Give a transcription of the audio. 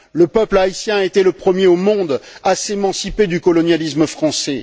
Le peuple haïtien a été le premier au monde à s'émanciper du colonialisme français.